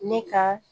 Ne ka